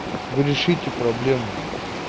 вы решите проблему